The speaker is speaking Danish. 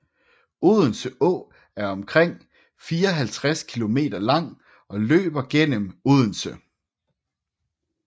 Odense Å er omkring 54 kilometer lang og løber gennem Odense